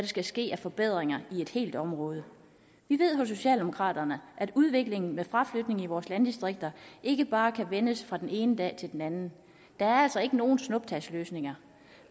skal ske af forbedringer i et helt område vi ved hos socialdemokraterne at udviklingen med fraflytning i vores landdistrikter ikke bare kan vendes fra den ene dag til den anden der er altså ikke nogen snuptagsløsninger